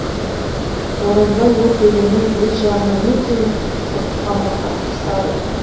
оразбай ол төрені өз жағына мүлде ұйытып бұрып алмаққа тырысады